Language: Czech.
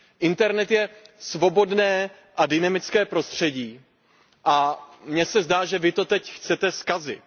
Internet je svobodné a dynamické prostředí a mně se zdá, že vy to teď chcete zkazit.